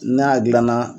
N'a gilanna